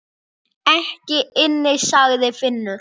Ekki inni, sagði Finnur.